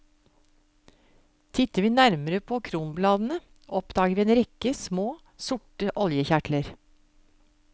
Titter vi nærmere på kronbladene, oppdager vi en rekke små, sorte oljekjertler.